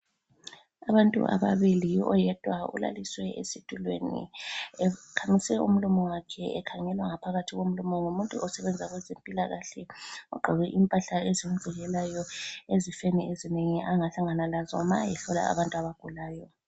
Abantu ababili oyedwa ulaliswe esitulweni ekhamise umlomo wakhe ekhangelwa ngaphakathi komlomo ngumuntu osebenza kwezempilakahle ogqoke impahla ezimvikelayo ezifeni ezinengi angahlangana lazo ma ehlola abantu abagulayo.